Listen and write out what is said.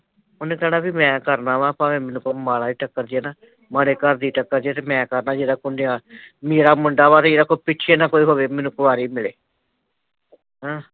ਉਹਨੇ ਕਹਿਣਾ ਵੀ ਮੈਂ ਕਰਨਾ ਵਾਂ ਭਾਂਵੇ ਮੈਨੂੰ ਕੋਈ ਮਾੜਾ ਈ ਠੱਕਰ ਜੇ ਨਾ ਮਾੜੇ ਘਰ ਦੀ ਟਕਰਜੇ ਤੇ ਮੈਂ ਕਰਨਾ ਜਿਹੜਾ ਕੋਈ ਨਿਆਣੇ ਮੇਰਾ ਮੁੰਡਾ ਵਾਂ ਤੇ ਜੀਦੇ ਕੋਈ ਪਿੱਛੇ ਨਾ ਕੋਈ ਹੋਵੇ, ਮੈਨੂੰ ਕੁਆਰੀ ਮਿਲੇ ਹਮ